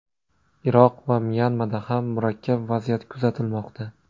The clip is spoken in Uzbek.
Iroq va Myanmada ham murakkab vaziyat kuzatilmoqda.